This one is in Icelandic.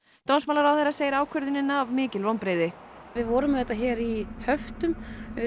dómsmálaráðherra segir ákvörðunina mikil vonbrigði við vorum auðvitað hér í höftum